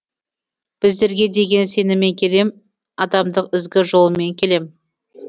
біздерге деген сеніммен келем адамдық ізгі жолыммен келем